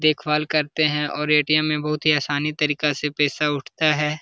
देख भाल करते है और ए.टी.एम. में बहुत ही आसानी तरीका से पेसा उठता हैं।